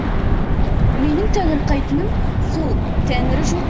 менің таңырқайтыным сол тәңірі жоқ